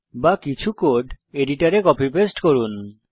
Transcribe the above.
বা কিছু কোড এডিটরে কপি পেস্ট করুন